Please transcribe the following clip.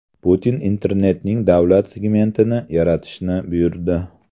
Putin internetning davlat segmentini yaratishni buyurdi.